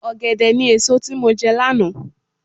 Ọ̀gẹ̀dẹ̀ ni èso tí mo jẹ lánàá.